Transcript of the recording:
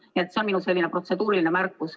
See on minu protseduuriline märkus.